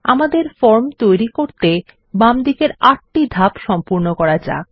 আমাদের ফর্ম তৈরি করতে বামদিকের ৮ টি ধাপ সম্পূর্ণ করা যাক